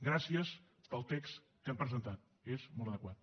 gràcies pel text que han presentat és molt adequat